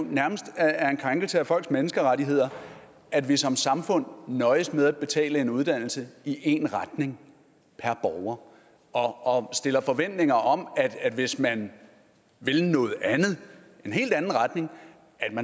nærmest er en krænkelse af folks menneskerettigheder at vi som samfund nøjes med at betale uddannelse i en retning per borger og stiller forventninger om at hvis man vil noget andet en helt anden retning